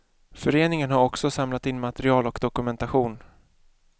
Föreningen har också samlat in material och dokumentation.